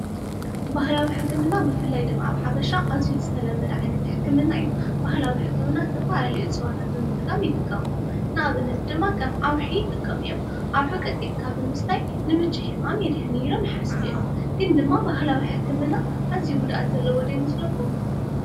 ባህላዊ ሕክምና ብፍላይ ድማ ኣብ ሓበሻ ኣዝዩ ዝተለመደ ዓይነት ሕክምና እዩ። ባህላዊ ሕክምና ዝተፈላለዩ እፅዋታት ብጥቃም ይጥቀሙ። ንኣብነት ድማ ከም ኣውሒ ይጥቀሙ እዮም። ኣውሒ ቀጥቂጥካ ብምስታይ ንምቺ ሕማም የድሕን እዩ ኢሎም ይሓስቡ እዮም ። ግን ድማ ባህላዊ ሕክምና ኣዝዩ ጉድኣት ዘለዎ ዶ ይመስለኩም ?